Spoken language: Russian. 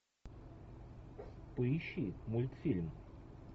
поищи мультфильм